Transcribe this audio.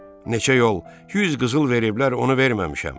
Neçə yol 100 qızıl veriblər, onu verməmişəm.